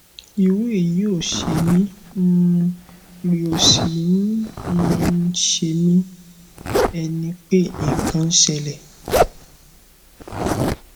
irú èyí ò ṣe mí um rí ó sì ń um ṣemí bí ẹni pé nǹkan ń ṣẹlẹ